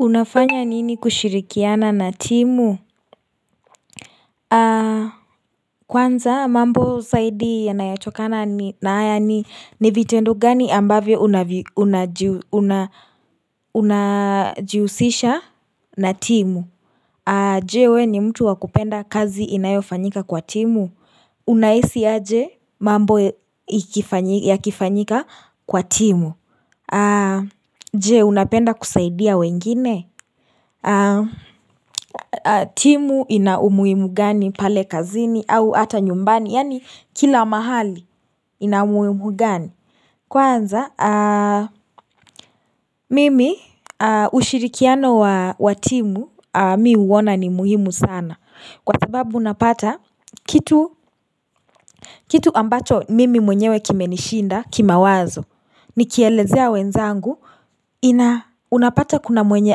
Unafanya nini kushirikiana na timu? Kwanza mambo zaidi yanayotokana ni na hayani ni vitendo gani ambavyo unajihusisha na timu Je we ni mtu wakupenda kazi inayofanyika kwa timu? Unahisi aje mabo ikifanyi yakifanyika kwa timu Je unapenda kusaidia wengine? Timu ina umuhimu gani pale kazini au hata nyumbani Yani kila mahali ina umuhimu gani Kwanza mimi ushirikiano wa timu mi huona ni muhimu sana Kwa sababu napata kitu kitu ambacho mimi mwenyewe kimenishida kimawazo Nikielezea wenzangu ina unapata kuna mwenye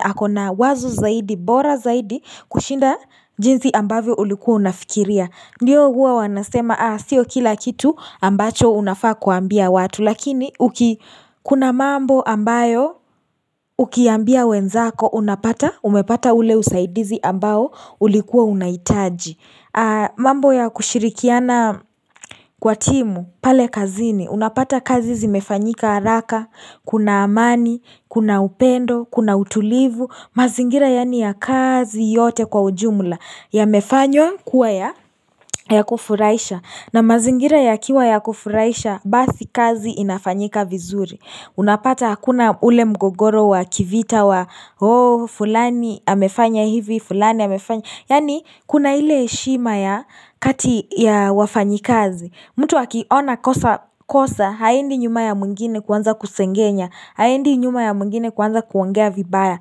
akona wazo zaidi bora zaidi kushinda jinsi ambavyo ulikuwa unafikiria Ndiyo huwa wanasema sio kila kitu ambacho unafaa kuambia watu Lakini kuna mambo ambayo ukiambia wenzako Unapata umepata uleusaidizi ambao ulikuwa unahitaji mambo ya kushirikiana kwatimu pale kazini Unapata kazi zimefanyika haraka Kuna amani, kuna upendo, kuna utulivu mazingira yani ya kazi yote kwa ujumla yamefanywa kuwa ya kufuraisha na mazingira ya kiwa ya kufuraisha basi kazi inafanyika vizuri unapata hakuna ule mgogoro wa kivita wa oh fulani ya amefanya hivi fulani ya amefanya yani kuna ile heshima ya kati ya wafanyikazi mtu akiona kosa kosa haendi nyuma ya mwingine kuanza kusengenya haendi nyuma ya mwingine kuanza kuangea vibaya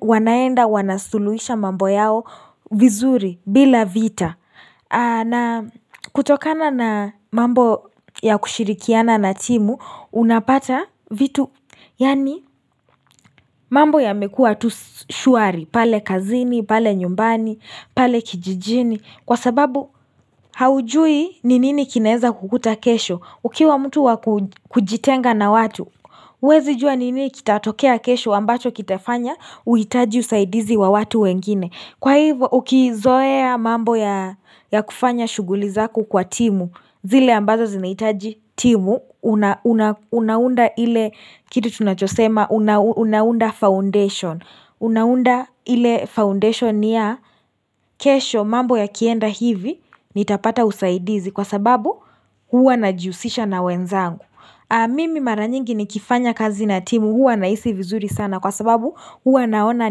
Wanaenda wanasuluhisha mambo yao vizuri bila vita na kutokana na mambo ya kushirikiana na timu Unapata vitu Yani mambo yamekua tu shwari pale kazini, pale nyumbani, pale kijijini Kwa sababu haujui nini ni kinaeza kukuta kesho Ukiwa mtu wakujitenga na watu huwezi jua nini kitatokea kesho ambacho kitafanya Uhutaji usaidizi wa watu wengine Kwa hivyo ukizoea mambo ya kufanya shughuli zako kwa timu zile ambazo zinahitaji timu Unaunda ile kitu tunachosema Unaunda foundation Unaunda ile foundation ya kesho mambo yakienda hivi nitapata usaidizi kwa sababu huwa na jihusisha na wenzangu Mimi mara nyingi nikifanya kazi na timu huwa nahisi vizuri sana Kwa sababu huwa naona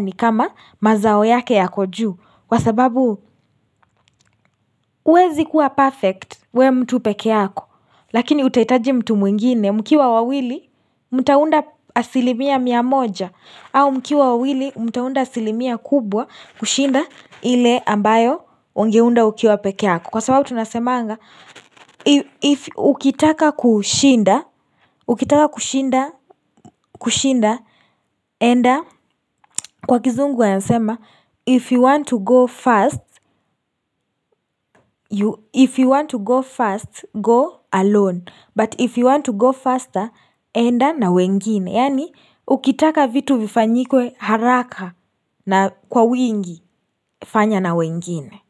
nikama mazao yake yako juu Kwa sababu huwezi kuwa perfect uwe mtu peke yako Lakini utahitaji mtu mwingine mkiwa wawili mtaunda asilimia mia moja au mkiwa wawili mtaunda asilimia kubwa kushinda ile ambayo ungeunda ukiwa peke yako Kwa sababu tunasemaga if ukitaka kushinda Ukitaka kushinda kushinda enda Kwa kizungu yasema If you want to go fast If you want to go fast go alone But if you want to go faster enda na wengine Yaani Ukitaka vitu vifanyike haraka na kwa wingi fanya na wengine.